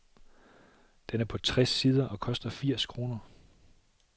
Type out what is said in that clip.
Den er på tres sider og koster firs kroner.